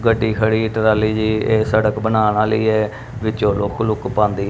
ਗੱਡੀ ਖੜੀ ਟਰਾਲੀ ਜਿਹੀ ਇਹ ਸੜਕ ਬਣਾਉਣ ਆਲੀ ਹੈ ਵਿੱਚੋ ਲੁੱਕ-ਲੁੱਕ ਪਾਂਦੀ।